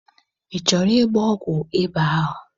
Ị chọrọ ịgba ọgwụ ịba ahụ?